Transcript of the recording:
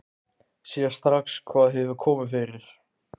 Sér strax hvað hefur komið fyrir.